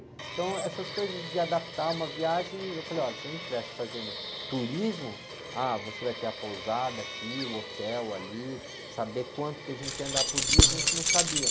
Então, eh, essas coisas de adaptar uma viagem, eu falei, olha, se a gente estivesse fazendo turismo, ah, você vai ter a pousada aqui, o hotel ali, saber quanto que a gente ia andar por dia, e a gente não sabia.